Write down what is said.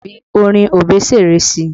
Fi orin Obesere sí i!